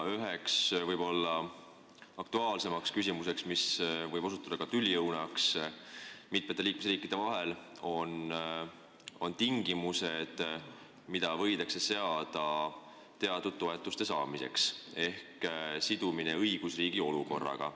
Üheks aktuaalsemaks küsimuseks, mis võib osutuda tüliõunaks mitme liikmesriigi vahel, on tingimused, mis võidakse seada teatud toetuste saamiseks, ehk nende sidumine õigusriigi olukorraga.